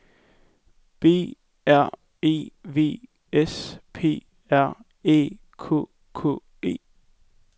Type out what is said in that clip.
B R E V S P R Æ K K E